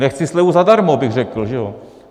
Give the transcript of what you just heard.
Nechci slevu zadarmo, bych řekl, že jo.